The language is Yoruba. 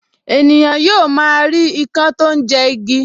Ènìyàn yóò máa rí ikán tó ń jẹ igi